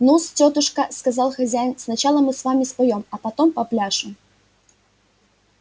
ну-с тётушка сказал хозяин сначала мы с вами споём а потом попляшем